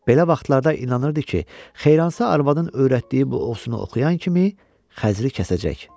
Belə vaxtlarda inanırdı ki, Xeyransa arvadın öyrətdiyi bu osunu oxuyan kimi Xəzri kəsəcək.